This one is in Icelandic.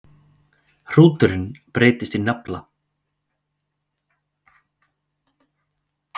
Hnúturinn breytist í nafla.